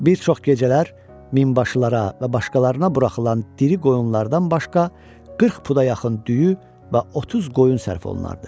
Bir çox gecələr minbaşılara və başqalarına buraxılan diri qoyunlardan başqa 40 puda yaxın düyü və 30 qoyun sərf olunardı.